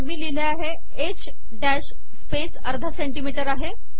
मग मी लिहिले आहे एच स्पेस अर्धा सेंटीमीटर आहे